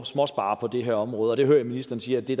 småsparere på det her område og jeg hører ministeren sige at det